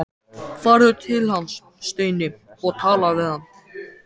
Farðu til hans, Steini, og talaðu við hann!